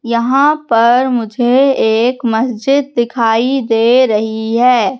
यहां पर मुझे एक मस्जिद दिखाई दे रही है।